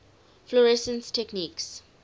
fluorescence techniques